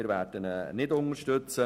Wir werden ihn nicht unterstützen.